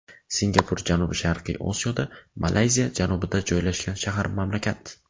Singapur janubi-sharqiy Osiyoda, Malayziya janubida joylashgan shahar-mamlakat.